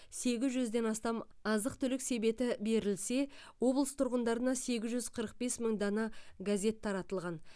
сегіз жүзден астам азық түлік себеті берілсе облыс тұрғындарына сегіз жүз қырық бес мың дана газет таратылған